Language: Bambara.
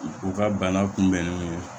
U ka bana kunbɛnni